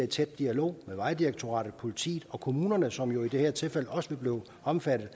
tæt dialog med vejdirektoratet politiet og kommunerne som i det her tilfælde også vil blive omfattet og